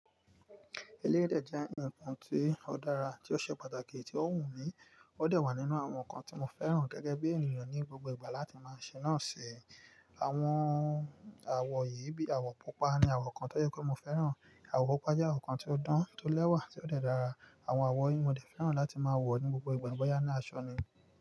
Eléyii dè jẹ́ ǹnkan tí ó dára, tí ó ṣe pàtàkì, tí ó wù mí, ó dà wà nínú àwọn nnkan tí mo fẹ́ràn gẹ́gẹ́ bí ènìyàn ní gbogbo ìgbà láti máa ṣe náà ṣe. Àwọn àwo yìí bíi àwọ̀ pupa ni àwọ̀ kan tó yẹ kó mo fẹ́ràn, àwọ̀ pupa je nnkan tí ó dán, tí ó lẹ́wà, tí ó de dára. Àwọn àwọ̀ yìí mo ti fẹ́ràn láti máa wọ̀ ní gbogbo ìgbà, boyá ní aṣọ ni.